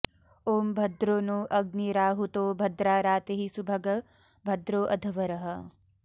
ॐ भद्रो नोऽ अग्निराहुतो भद्रा रातिः सुभग भद्रोऽ अध्वरः